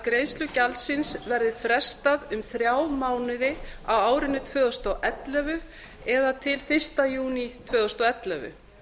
greiðslu gjaldsins verði frestað um þrjá mánuði á árinu tvö þúsund og ellefu eða til fyrsta júní tvö þúsund og ellefu